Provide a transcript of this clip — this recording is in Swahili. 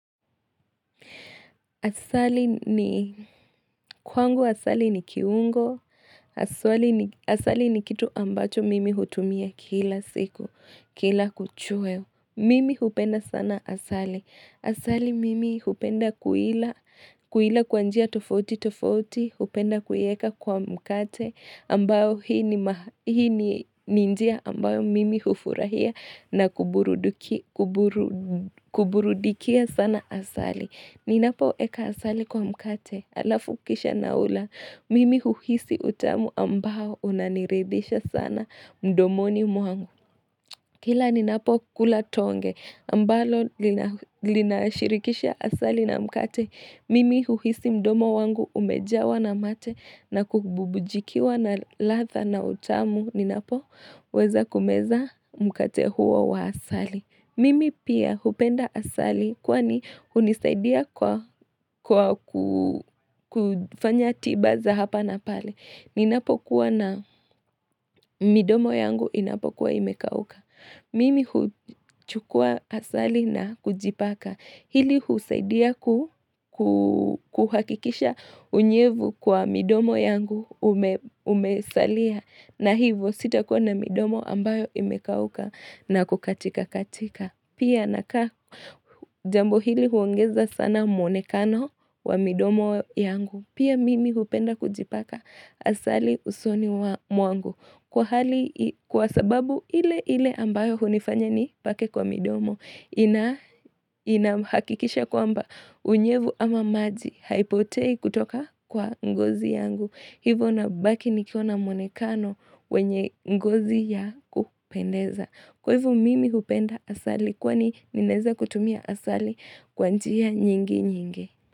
Asali ni kwangu asali ni kiungo Asali ni kitu ambacho mimi hutumia kila siku kila kuchwa. Mimi hupenda sana asali. Asali mimi hupenda kuila, kuila kwa njia tofauti tofauti, hupenda kuiweka kwa mkate ambao hii ni njia ambayo mimi hufurahia na kuburudikia sana asali. Ninapoeka asali kwa mkate, halafu kisha naula, mimi huhisi utamu ambao unaniridhisha sana mdomoni mwangu Kila ninapokula tonge, ambalo linashirikisha asali na mkate, mimi huhisi mdomo wangu umejawa na mate na kububujikiwa na ladha na utamu. Ninapoweza kumeza mkate huo wa asali Mimi pia hupenda asali kwani hunisaidia kwa kufanya tiba za hapa na pale. Ninapokuwa na midomo yangu inapokuwa imekauka. Mimi huchukua asali na kujipaka. Hili husaidia kuhakikisha unyevu kwa midomo yangu umesalia. Na hivyo sitakuwa na midomo ambayo imekauka na kukatika katika. Pia nikaa jambo hili huongeza sana mwonekano wa midomo yangu. Pia mimi hupenda kujipaka asali usoni mwangu. Kwa sababu ile ile ambayo hunifanya nipake kwa midomo. Inahakikisha kwamba unyevu ama maji haipotei kutoka kwa ngozi yangu. Hivo nabaki nikiwa na mwonekano wenye ngozi ya kupendeza. Kwa hivyo mimi hupenda asali kwani ninaweza kutumia asali kwa njia nyingi nyingi.